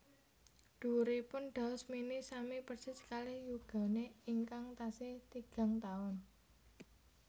Dhuwuripun Daus Mini sami persis kalih yugane ingkang tasih tigang taun